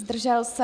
Zdržel se?